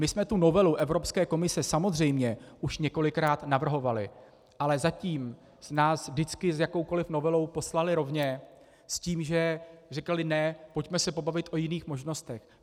My jsme tu novelu Evropské komise samozřejmě už několikrát navrhovali, ale zatím nás vždycky s jakoukoli novelou poslali rovně, s tím že říkali ne, pojďme se pobavit o jiných možnostech.